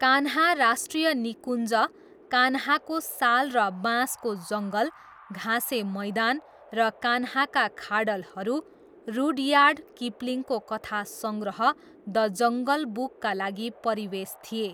कान्हा राष्ट्रिय निकुञ्ज, कान्हाको साल र बाँसको जङ्गल, घाँसे मैदान र कान्हाका खाडलहरू रुड्यार्ड किपलिङको कथा सङ्ग्रह 'द जङ्गल बुक'का लागि परिवेश थिए।